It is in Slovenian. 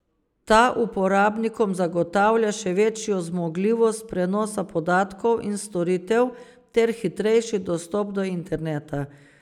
Ta uporabnikom zagotavlja še večjo zmogljivost prenosa podatkov in storitev ter hitrejši dostop do interneta.